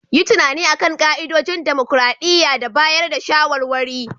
Yi tunani a kan ka'idodin dimokuradiyya da bayar da shawarwari.